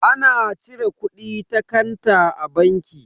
Ana cire kudi ta kanta a banki.